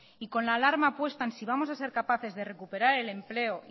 y con la alarma puesta en si vamos a ser capaces de recuperar el empleo